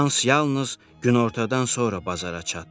Hans yalnız günortadan sonra bazara çatdı.